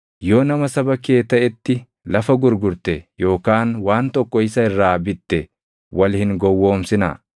“ ‘Yoo nama saba kee taʼetti lafa gurgurte yookaan waan tokko isa irraa bitte, wal hin gowwoomsinaa.